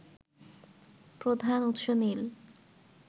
প্রধান উৎস নীল